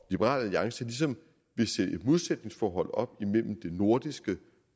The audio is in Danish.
liberal alliance ligesom vil sætte et modsætningsforhold op mellem det nordiske